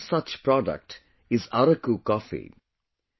One such product is Araku coffee